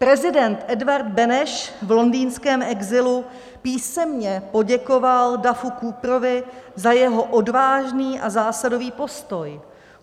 Prezident Edvard Beneš v londýnském exilu písemně poděkoval Duffu Cooperovi za jeho odvážný a zásadový postoj.